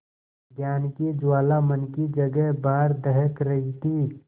ज्ञान की ज्वाला मन की जगह बाहर दहक रही थी